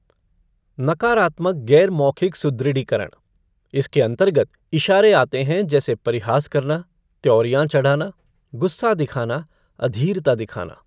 नकारात्मक गैर मौखिक सुदृढ़ीकरण इसके अंतर्गत इशारे आते हैं जैसे परिहास करना, त्यौरियां चढ़ाना, गुस्सा दिखाना, अधीरता दिखाना।